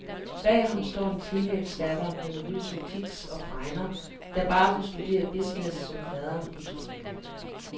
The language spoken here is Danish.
Bag ham står en teenagedatter med nervøse tics og fregner, der bare vil studere business, som faderen udtrykker det.